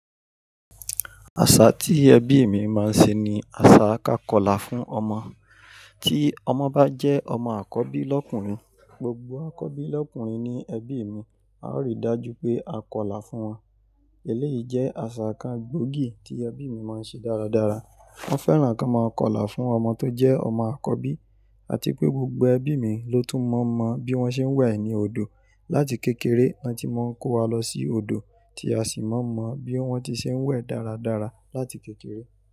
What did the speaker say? Àṣà tí ẹbí mi máa ń ṣe ni àṣà ká Kọ́lá fún ọmọ. Tí ọmọ bá jẹ́ ọmọ àkọ́bí lọ́kùnrin, gbogbo àkọ́bí lọ́kùnrin ní ẹbí mi, a ó rí i dájú pé a Kọ́lá fún wọn. Eléyìí jẹ́ àṣà kan gbóògì tí ẹbí mi máa ń ṣe dáradára. Wọ́n fẹ́ràn kí a máa Kọ́lá fún ọmọ tó jẹ́ ọmọ àkọ́bí àti pé gbógbó ẹbí mi ló tún mọ̀ mọ̀ bí wọ́n ṣe ń wẹ̀ ní odò. Láti kékeré, wọn ti máa ń kó wa lọ sí odò tí a sì mọ̀ mọ̀ bí wọ́n ṣe ń wẹ̀ dáradára láti kékeré.